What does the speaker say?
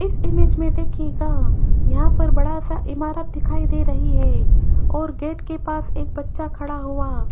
इस इमेज मे देखियेगा यहां पर बड़ा सा इमारत दिखाई दे रही है और गेट के पास एक बच्चा खड़ा हुआ --